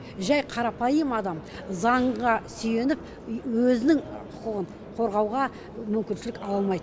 жәй қарапайым адам заңға сүйеніп өзінің құқығын қорғауға мүмкіншілік ала алмайды